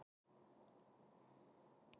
spurði Elsa varfærnislega af því